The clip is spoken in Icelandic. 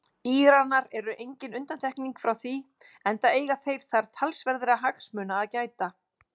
Íranar eru engin undantekning frá því enda eiga þeir þar talsverðra hagsmuna að gæta.